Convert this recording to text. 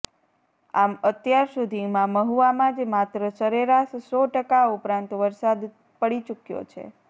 આમ અત્યાર સુધીમાં મહુવામાં જ માત્ર સરેરાશ સો ટકા ઉપરાંત વરસાદ પડી ચૂક્યો છે